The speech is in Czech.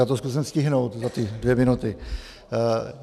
Já to zkusím stihnout za ty dvě minuty.